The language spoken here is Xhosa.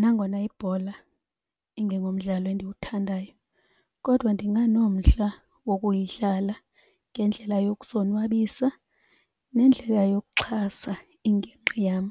Nangona ibhola ingengomdlalo endiwuthandayo kodwa ndinganomdla wokuyidlala ngendlela yokuzonwabisa nendlela yokuxhasa ingingqi yam.